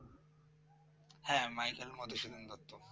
হ্যাঁ মাইকেল মধুসূদন দত্ত